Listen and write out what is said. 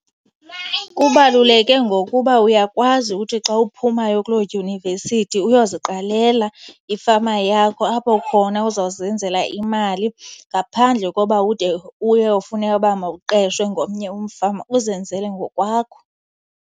Kubaluleke ngokuba uyakwazi uthi xa uphumayo kuloo dyunivesithi uyoziqalela ifama yakho, apho khona uzawuzenzela imali ngaphandle koba ude uyofuneka uba mawuqeshwe ngomnye umfama, uzenzele ngokwakho.